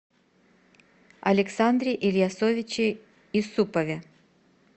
александре ильясовиче исупове